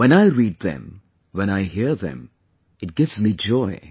When I read them, when I hear them, it gives me joy